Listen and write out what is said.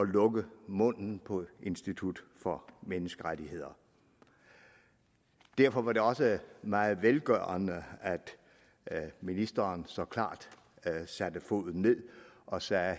lukke munden på institut for menneskerettigheder derfor var det også meget velgørende at ministeren her så klart satte foden ned og sagde